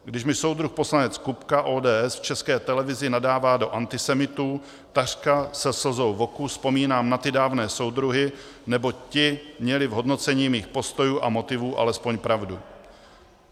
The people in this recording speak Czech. Když mi soudruh poslanec Kupka, ODS, v České televizi nadává do antisemitů, takřka se slzou v oku vzpomínám na ty dávné soudruhy, neboť ti měli v hodnocení mých postojů a motivů alespoň pravdu.